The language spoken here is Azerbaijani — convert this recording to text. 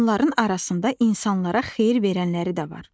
Onların arasında insanlara xeyir verənləri də var.